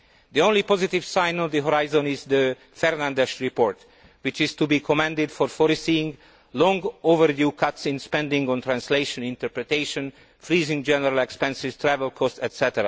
The only positive sign on the horizon is the Fernandes report, which is to be commended for foreseeing long overdue cuts in spending on translation and interpretation, freezing general expenses, travel costs, etc.